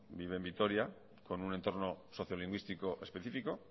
vive en vitoria con un entorno sociolingüístico específico